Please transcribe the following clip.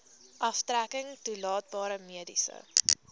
aftrekking toelaatbare mediese